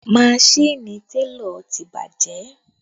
Maṣini télọ̀ ti bàjẹ́